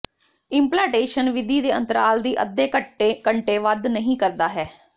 implantation ਵਿਧੀ ਦੇ ਅੰਤਰਾਲ ਦੀ ਅੱਧੇ ਘੰਟੇ ਵੱਧ ਨਹੀ ਕਰਦਾ ਹੈ